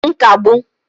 nkagbu